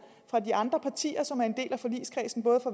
fra de andre partier som er en del af forligskredsen både